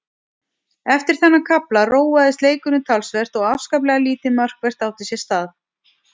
Eftir þennan kafla róaðist leikurinn talsvert og afskaplega lítið markvert átti sér stað.